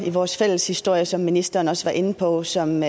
i vores fælles historie som ministeren også var inde på som